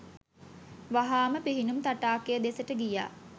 වහාම පිහිනුම් තටාකය දෙසට ගියා..